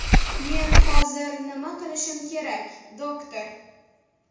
Men hozir nima qilishim kerak, doktor?